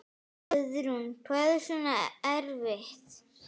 Guðrún: Hvað er svona erfitt?